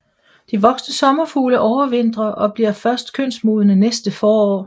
De voksne sommerfugle overvintrer og bliver først kønsmodne næste forår